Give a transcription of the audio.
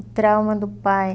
O trauma do pai